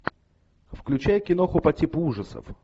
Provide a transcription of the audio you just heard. включай киноху по типу ужасов